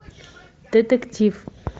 детектив